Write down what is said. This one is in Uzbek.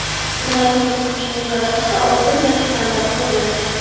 Vladimir Putinning g‘alabasi oltin va titanda muhrlandi.